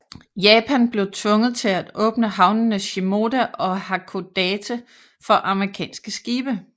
Japan blev tvunget til at åbne havnene Shimoda og Hakodate for amerikanske skibe